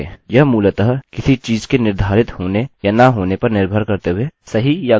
यह मूलतः किसी चीज़ के निर्धारित होने या न होने पर निर्भर करते हुए सही या ग़लत वेल्यु देता है